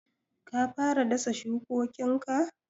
Ka fara dasa shukokinka?